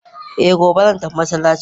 eh, gobe zan tafi masallaci